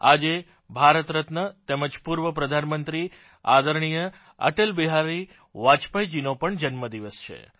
આજે ભારત રત્ન તેમજ પૂર્વ પ્રધાનમંત્રી આદરણીય અટલ બિહારી વાજપેયીજીનો પણ જન્મદિવસ છે